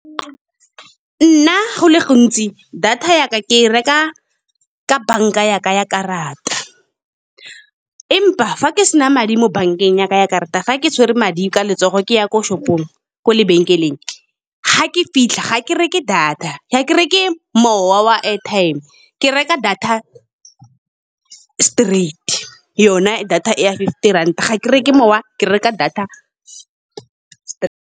Nna go le go ntsi data yaka ke e reka ka bank,-a ya ka ya karata. Empa fa ke sena madi mo bank-eng yaka ya karata, fa ke tshwere madi ka letsogo ke ya ko shopong, kwa lebenkeleng ga ke fitlha ga ke reke mowa wa airtime, ke reka data straight, yona e data ya fifty ranta ga ke re ke mowa ke reka data .